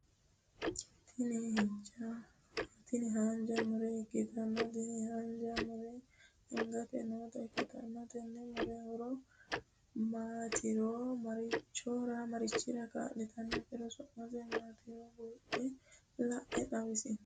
Tini haanjja muro ikkitanna tini haanjja murono gate noota ikkitanna tenne muro horo maatironna maricchira kaaliitarona sumise maatiro buuxe la'e xawisie?